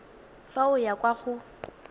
fa o ya kwa go